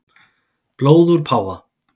Blóð úr páfa